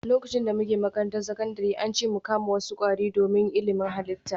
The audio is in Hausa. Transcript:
Lokacin da muke makarantar sakandare, an ce mu kama wasu kwari don ilimin halitta